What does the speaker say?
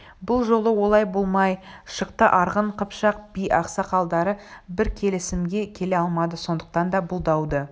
бұл жолы олай болмай шықты арғын қыпшақ би-ақсақалдары бір келісімге келе алмады сондықтан да бұл дауды